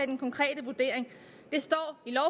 den konkrete vurdering det står